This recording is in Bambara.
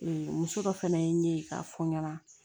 Ee muso dɔ fɛnɛ ye k'a fɔ n ɲɛna